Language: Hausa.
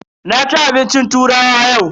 Na ci abincin turawa yau.